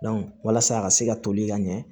walasa a ka se ka toli ka ɲɛ